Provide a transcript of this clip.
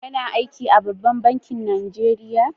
Kana aiki a ɓabban bankin Najeriya?